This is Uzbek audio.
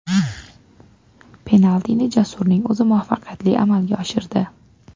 Penaltini Jasurning o‘zi muvaffaqiyatli amalga oshirdi.